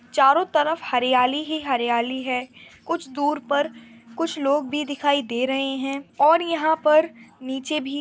चारों तरफ हरियाली ही हरियाली है कुछ दूर पर कुछ लोग भी दिखाई दे रहे हैं और यहाँ पर नीचे भी --